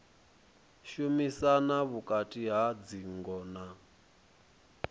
shumisana vhukati ha dzingo na